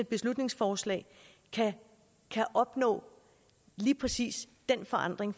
beslutningsforslag kan opnå lige præcis den forandring